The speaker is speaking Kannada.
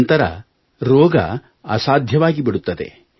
ನಂತರ ರೋಗ ಅಸಾಧ್ಯವಾಗಿಬಿಡುತ್ತದೆ